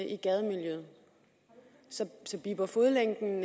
i gademiljøet så bipper fodlænken